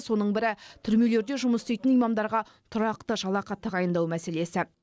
соның бірі түрмелерде жұмыс істейтін имамдарға тұрақты жалақы тағайындау мәселесі